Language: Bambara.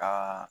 Ka